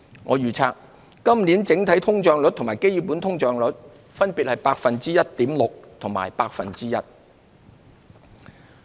我預測今年整體通脹率與基本通脹率分別為 1.6% 和 1%。